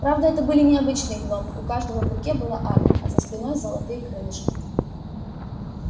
правда это были не обычные гномы у каждого в руке была арфа а за спиной золотые крылышки